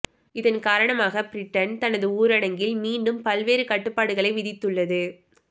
இதன் காரணமாகப் பிரிட்டன் தனது ஊரடங்கில் மீண்டும் பல்வேறு கட்டுப்பாடுகளை விதித்துள்ளது